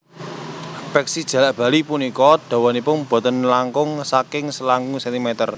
Peksi jalak bali punika dawanipun boten langkung saking selangkung centimeter